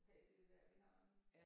Have det vejr vi har nu